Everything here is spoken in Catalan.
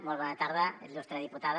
molt bona tarda il·lustre diputada